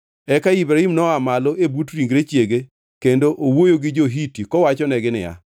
Eka Ibrahim noa malo e but ringre chiege kendo owuoyo gi jo-Hiti kowachonegi niya,